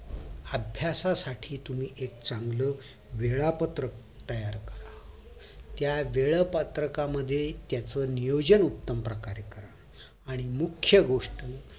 अभ्यासाठी तुम्ही एक चांगलं वेळापत्रक तयार करा त्या वेळापत्रकामध्ये त्याच नियोजन उत्तम प्रकारे करा आणि मुख्य गोष्ट